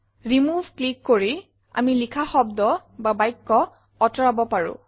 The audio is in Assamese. ৰিমুভ ক্লিক কৰি আমি লিখা শব্দ বা বাক্য কাটিব পাৰো